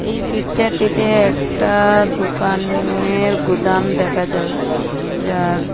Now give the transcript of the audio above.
এই পিকচার -টিতে একটা দুকানের গুদাম দেখা যায় যার--